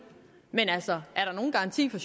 men altså er der nogen garanti fra